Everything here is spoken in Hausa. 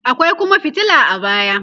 akwai Kuma fitila a baya